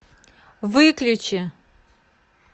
выключи